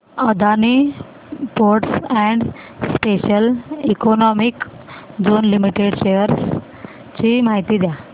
Adani ports and special economic zone limited shares ची माहिती द्या